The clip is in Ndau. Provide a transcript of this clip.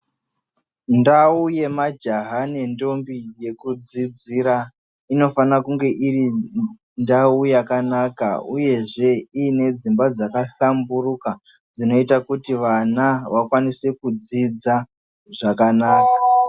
Ndau yemajaha nendombi yekudzidzira inofane kunge iri ndau yakanaka uyezve ine dzimba dzakahlamburuka dzinoita kuti vana vakwanise kudzidza zvakanaka.